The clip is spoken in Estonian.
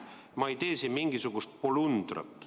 Ma ei tee siin mingisugust polundrat.